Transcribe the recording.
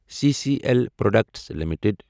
C C L products limited